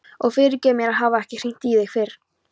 Og fyrirgefðu mér að hafa ekki hringt í þig fyrr.